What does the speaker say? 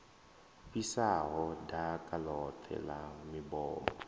fhisaho ḓaka ḽoṱhe ḽa mibomo